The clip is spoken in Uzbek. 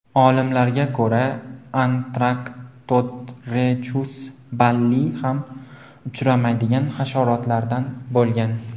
Olimlarga ko‘ra, Antarctotrechus balli ham uchmaydigan hasharotlardan bo‘lgan.